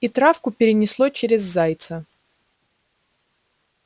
и травку перенесло через зайца